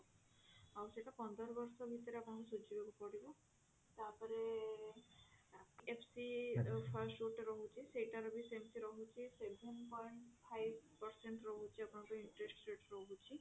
ଆଉ ସେଟା ପନ୍ଦର ବର୍ଷ ଭିତରେ ଆପଣଙ୍କୁ ସୁଝିବାକୁ ପଡିବ ତାପରେ HDFC first ଗୋଟେ ରହୁଛି ସେଇଟା ର ବି ସେମିତି ରହୁଛି seven point five percent ରହୁଛି ଆପଣଙ୍କ interest rate ରହୁଛି